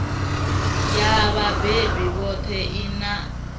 ya vhabebi vhoṱhe i a